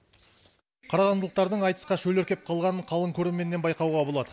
қарағандылықтардың айтысқа шөліркеп қалғанын қалың көрерменнен байқауға болады